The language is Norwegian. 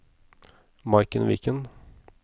Maiken Viken